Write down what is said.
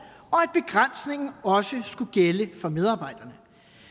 og at begrænsningen også skulle gælde for medarbejderne